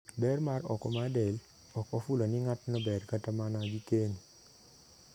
Ber ma oko mar del ok ofulo ni ng'atno ber kata mana gi keny.